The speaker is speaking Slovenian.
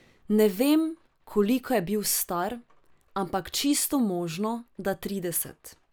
Ne vem, koliko je bil star, ampak čisto možno, da trideset!